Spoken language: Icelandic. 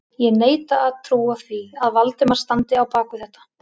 Ég neita að trúa því, að Valdimar standi á bak við þetta